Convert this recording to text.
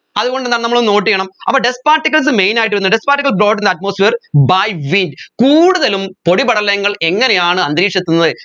അതുകൊണ്ട് എന്താണ് നമ്മൾ അത് note ചെയ്യണം അപ്പോ dust particlesmain ആയിട്ട് വരുന്നെ dust particles got in the atmosphere by wind കൂടുതലും പൊടിപടലങ്ങൾ എങ്ങനെയാണ് അന്തരീക്ഷത്തുന്നത്